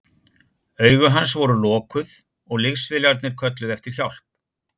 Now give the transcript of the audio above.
Augu hans voru lokuð og liðsfélagarnir kölluðu eftir hjálp.